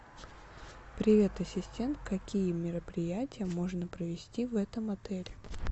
привет ассистент какие мероприятия можно провести в этом отеле